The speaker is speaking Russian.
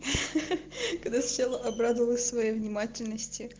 ха-ха когда сначала обрадовалась своей внимательности